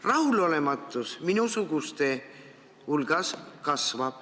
Rahulolematus minusuguste hulgas kasvab.